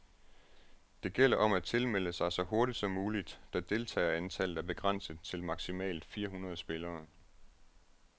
Det gælder om at tilmelde sig så hurtigt som muligt, da deltagerantallet er begrænset til maximalt fire hundrede spillere.